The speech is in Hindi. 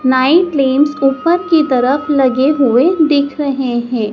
नाइट लैम्पस ऊपर की तरफ लगे हुए दिख रहे हैं।